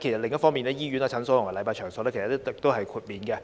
另一方面，現時醫院、診所及禮拜場所已可獲豁免。